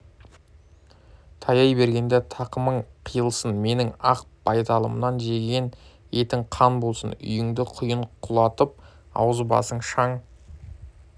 таяй бергенде тақымың қиылсын менің ақ байталымнан жеген етің қан болсын үйіңді құйын құлатып аузы-басың шаң